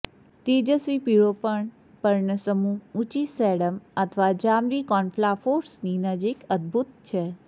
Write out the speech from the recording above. તેજસ્વી પીળો પર્ણ પર્ણસમૂહ ઉંચી સેડમ અથવા જાંબલી કોનફ્લાફોર્સની નજીક અદભૂત છે